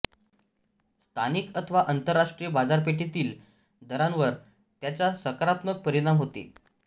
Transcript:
स्थानिक अथवा आंतरराष्ट्रीय बाजारपेठेतील दरांवर त्याचा सकारात्मक परिणाम होते